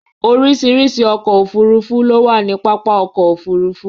Oríṣiríṣi ọkọ̀ òfuurufú ló wà ní pápá ọkọ̀ òfurufú